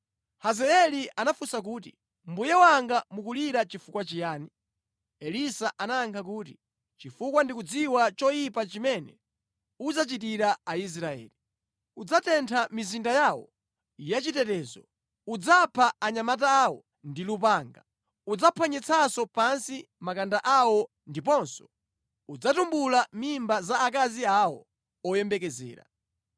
Hazaeli anafunsa kuti, “Mbuye wanga mukulira chifukwa chiyani?” Elisa anayankha kuti, “Chifukwa ndikudziwa choyipa chimene udzachitira Aisraeli. Udzatentha mizinda yawo ya chitetezo, udzapha anyamata awo ndi lupanga, udzaphwanyitsa pansi makanda awo ndiponso udzatumbula mimba za akazi awo oyembekezera.”